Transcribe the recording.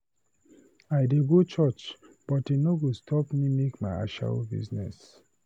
I dey go church but e no go make me stop my ashawo business.